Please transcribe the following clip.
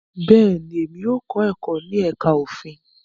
Bẹ́ẹ̀ni, emi yóò kọ ẹkọ ni ẹka ofin